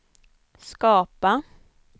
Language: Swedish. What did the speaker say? skapa